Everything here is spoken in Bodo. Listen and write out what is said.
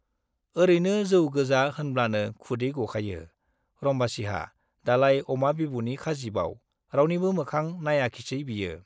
ओरैनो जौ गोजा होनब्लानो खुदै गखायो रम्बासीहा, दालाय अमा बिबुनि खाजिबाव, रावनिबो मोखां नाइयाखिसै बियो।